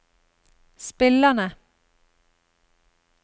spillerne